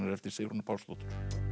eftir Sigrúnu Pálsdóttur